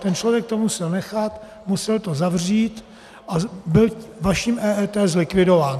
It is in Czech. Ten člověk toho musel nechat, musel to zavřít a byl vaším EET zlikvidován.